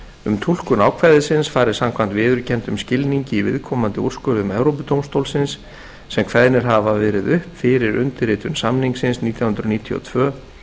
um túlkun ákvæðisins fari samkvæmt viðurkenndum skilningi í viðkomandi úrskurðum evrópudómstólsins sem kveðnir hafa verið upp fyrir undirritun samningsins nítján hundruð níutíu og tvö